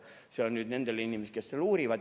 See oli nüüd nendele inimestele, kes veel uurivad.